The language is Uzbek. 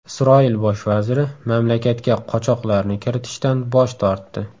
Isroil bosh vaziri mamlakatga qochoqlarni kiritishdan bosh tortdi.